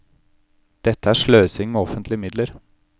Dette er sløsing med offentlige midler.